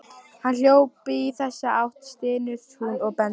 Hann hljóp í þessa átt, stynur hún og bendir.